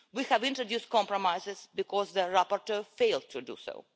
We have introduced compromises because the rapporteur failed to do so.